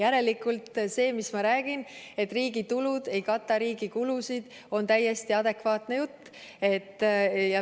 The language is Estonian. Järelikult see, mis ma räägin, et riigi tulud ei kata riigi kulusid, on täiesti adekvaatne jutt.